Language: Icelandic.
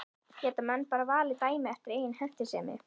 Geta menn bara valið dæmi eftir eigin hentisemi?